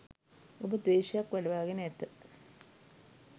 ඔබ ද්වේශයක් වඩවාගෙන ඇත.